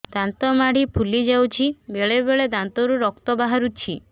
ଦାନ୍ତ ମାଢ଼ି ଫୁଲି ଯାଉଛି ବେଳେବେଳେ ଦାନ୍ତରୁ ରକ୍ତ ବାହାରୁଛି